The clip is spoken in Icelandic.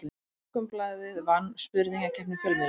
Morgunblaðið vann spurningakeppni fjölmiðla